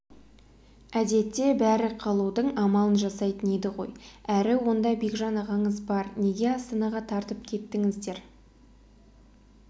әдетте бәрі қалудың амалын жасайтын еді ғой әрі онда бекжан ағаңыз бар неге астанаға тартып кеттіңіздер